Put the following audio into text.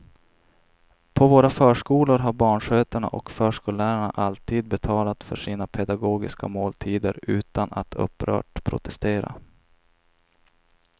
På våra förskolor har barnskötarna och förskollärarna alltid betalat för sina pedagogiska måltider utan att upprört protestera.